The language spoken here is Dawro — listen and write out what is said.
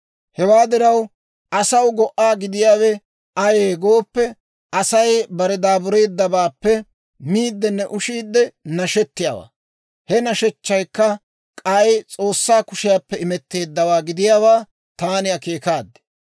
Hewaa diraw, asaw go"aa gidiyaawe ayee gooppe, Asay bare daabureeddabaappe miiddinne ushiide nashettiyaawaa. He nashechchaykka k'ay S'oossaa kushiyaappe imetteeddawaa gidiyaawaa taani akeekaad.